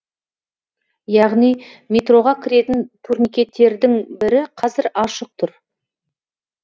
яғни метроға кіретін турникеттердің бірі қазір ашық тұр